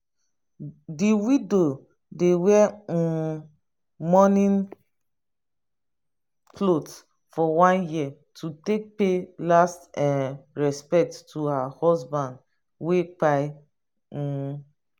the widow dey wear um mourning cloth for one year to take pay last respect to her husband wey pkin um